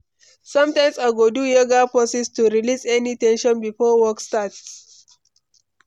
Sometimes, I go do yoga poses to release any ten sion before work starts.